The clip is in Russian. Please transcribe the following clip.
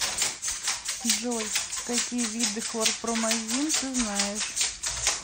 джой какие виды хлорпромазин ты знаешь